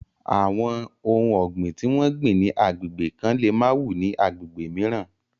Àwọn ohun ọ̀gbìn tí wọ́n gbìn ni agbègbè kan lè má wù ní agbègbè mìíràn.